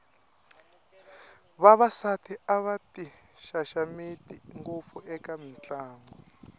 vavasati a va ti xaxameti ngopfu eka mitlangu